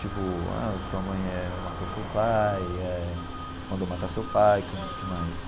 Tipo ah, sua eh mãe matou seu pai, eh mandou matar seu pai, o que que mais?